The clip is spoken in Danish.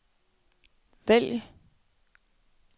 vælg